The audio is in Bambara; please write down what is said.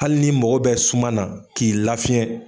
Hali ni mago bɛ suma na k'i lafiɲɛ